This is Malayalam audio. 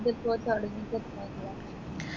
ഇതിപ്പോ തുടങ്ങീട്ട് എത്രയായി